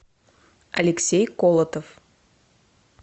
алексей колотов